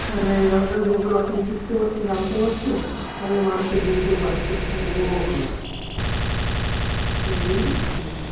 মানে অনেক কিছু শিখতে পারতুম জানতেও পারতুম। তাহলে মানুষকে বুঝতেও পারত। তাহলে ও বাবা এই রকম case